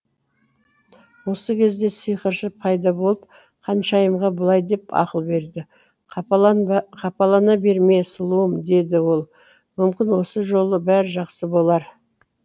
осы кезде сиқыршы пайда болып ханшайымға былай деп ақыл берді қапалана берме сұлуым деді ол мүмкін осы жолы бәрі жақсы болар